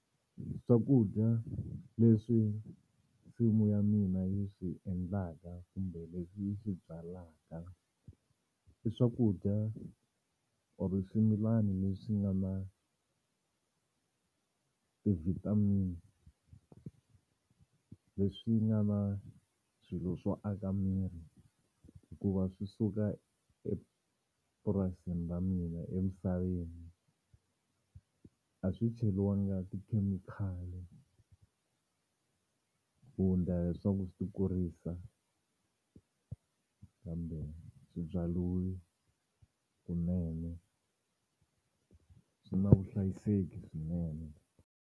Swakudya leswi nsimu ya mina yi swi endlaka kumbe leswi yi swi byalaka i swakudya or swimilana leswi nga na ti-vitamin leswi nga na swilo swo aka miri hikuva swi suka epurasini ra mina emisaveni a swi cheriwanga tikhemikhali ku ndla leswaku swi kurisa kambe swi byariwe kunene swi na vuhlayiseki swinene.